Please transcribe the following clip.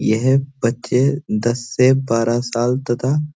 यह बच्‍चे दस से बारह साल तथा--